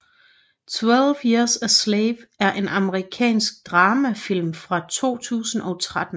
12 Years a Slave er en amerikansk dramafilm fra 2013